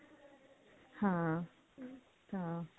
ਹਾਂ ਹਾਂ